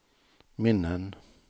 minnen